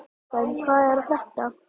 Kjartan, hvað er að frétta?